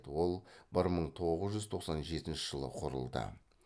ол бір мың тоғыз жүз тоқсан жетінші жылы құрылды